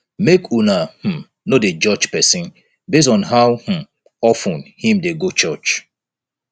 make una um no dey judge pesin based on how um of ten im dey go church